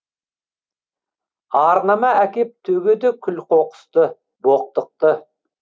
арнама әкеп төгеді күл қоқысты боқтықты